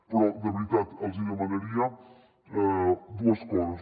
però de veritat els demanaria dues coses